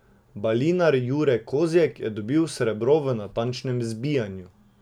Balinar Jure Kozjek je dobil srebro v natančnem zbijanju.